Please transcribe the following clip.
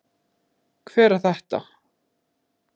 Hver er þetta?